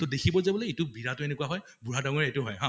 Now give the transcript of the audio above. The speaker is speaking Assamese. তʼ দেখিব যে বোলে এইটো বিৰাটো এনেকুৱা হয় বুঢ়া দাঙ্গৰীয়া এইটো হয় হা